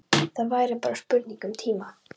Það væri bara spurning um tíma.